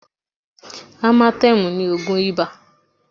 Amatẹ́mù ni ògùn ibà